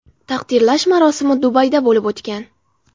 Taqdirlash marosimi Dubayda bo‘lib o‘tgan.